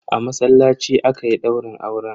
A masallaci aka yi daurin auren.